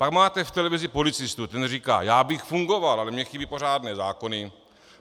Pak máte v televizi policistu, ten říká: já bych fungoval, ale mně chybí pořádné zákony.